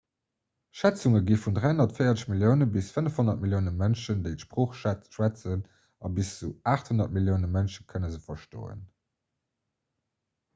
schätzunge gi vun 340 millioune bis 500 millioune mënschen déi d'sprooch schwätzen a bis zu 800 millioune mënsche kënne se verstoen